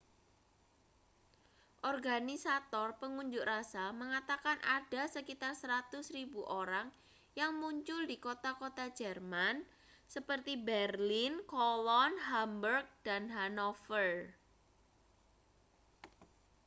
organisator pengunjuk rasa mengatakan ada sekitar 100.000 orang yang muncul di kota-kota jerman seperti berlin cologne hamburg dan hanover